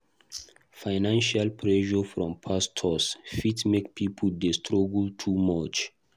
Financial pressure from pastors fit make pipo dey struggle too much.